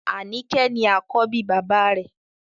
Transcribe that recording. Anike ni àkọ́bí bàbá rẹ̀